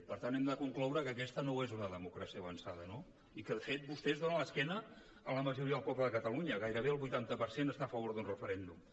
per tant hem de concloure que aquesta no ho és una democràcia avançada no i que de fet vostès giren l’esquena a la majoria del poble de catalunya gairebé el vuitanta per cent està a favor d’un referèndum